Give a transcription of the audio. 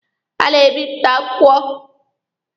Ha na-ebịpụta akwụkwọ.